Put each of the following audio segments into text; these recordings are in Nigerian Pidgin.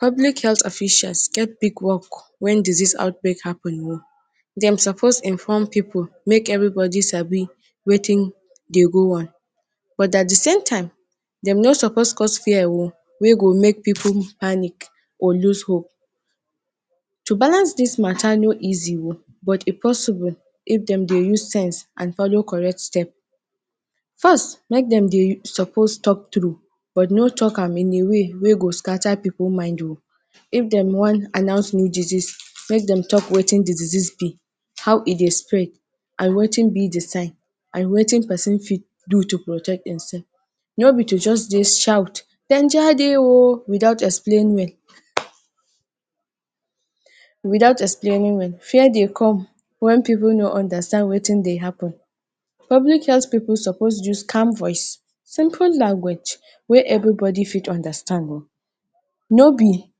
pulic health officials get big work wen disease outbreak happen o. dem suppose inform pipu make everybody sabi wetin dey go on but at di same time dem no suppose cause fear o wey go make pipu panic or lose hope. To balance dis matta no easy o but e possible if dem dey use sense and follow correct step. First, make dem dey suppose talk true but no tok am in a way wey go scatter pipu mind o. If dem wan announce new disease, make dem tok wetin de disease be, how e dey spread and wetin be de sign and wetin pesin fit do to protect themself. no be to just dey shout without explain well without explaining well. fear dey come wen pipu no understand wetin dey happen. public health pipu suppose use calm voice, simple language wey everybody fit understand o no be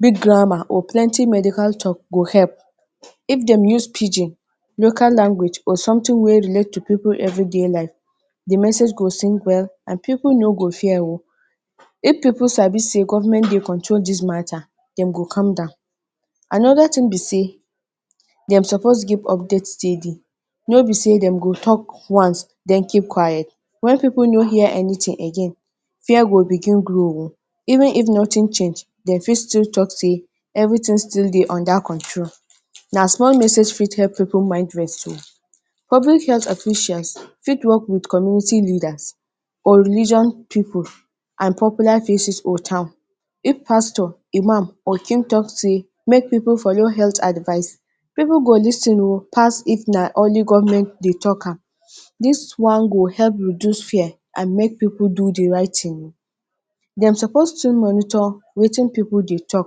big grammar or plenti medical tok go help. if dem use pidgin, local language or something wey relate to pipu everyday life, the message go sink well and pipu no go fear o. if pipu sabi say government dey control dis matta, dem go calm down. anoda tin be say, dem suppose give update daily. no be say dem go tok once den keep quiet. when pipu no hear anything again fear go begin grow o. even if nothing change dem fit still tok say everything still dey under control. na small message fit help pipu mind rest o. public health officials fit work with community leaders or religion people and popular faces for town if pastor, imam, or tok say make pipu follow pipu go lis ten o pass if na only government dey tok am. This one go help reduce fear and make pipu do the right tin o. dem supoose to monitor wetin pipu dey tok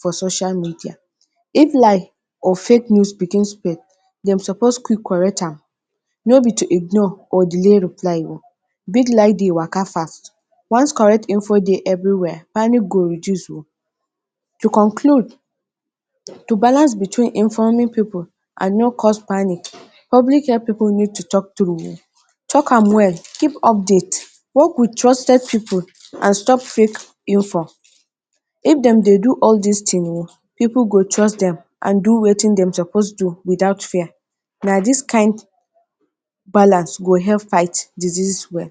for social media. if lie or fake news begin spread, dem suppose quick correct am no be to ignore or delay reply o. Big lie dey waka first. once correct info dey everywhere, panic go reduce o. To conclude, to balance between informing pipu and no cause panic public health pipu need to tok. tok am wel give update, work with trusted pipu and stop fake info. if dem dey do all dis thing o, pipu go trust them and do wetin dem suppose do without fear. na dis kind balance go help fight disease well.